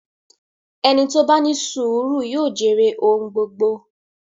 Ẹni tó bá ní sùúrù yóò jèrè ohun gbogbo.